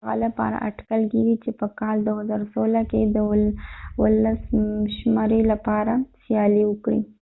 هغه لپاره اټکل کیږي چې په کال 2016 کې د ولسمشرۍ لپاره سیالي وکړي